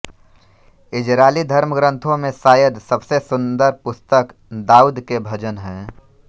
Israeli धर्मग्रंथों में शायद सबसे सुंदर पुस्तक दाऊद के भजन हैं